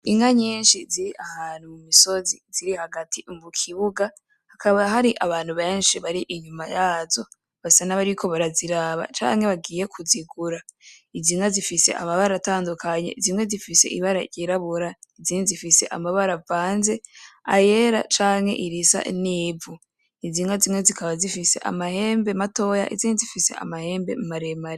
Inka nyinshi ziri ahantu mumisozi ziri hagati mukibuga hakaba hari abantu benshi bari inyuma yazo basa nabariko baraziraba canke bagiye kuzigura iz'inka zifise amabara atandukanye zimwe zifise ibara ry'irabura izindi zifise amabara avanze ayera canke irisa nivu , iz'inka zimwe zikaba zifise amahembe matoya izindi zifise amahembe maremare.